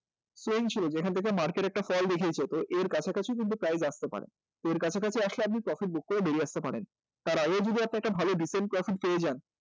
same ছিল যেখান থেক এ market একটা fall দেখিয়েছে তো এর কাছাকাছিও কিন্তু price আসতে পারে কাছাকাছি আসলে আপনি profit book করে বেরিয়ে আসতে পারেন তার আগেও যদি আপনি একটা ভালো decent profit পেয়ে যান